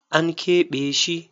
An keɓe shi.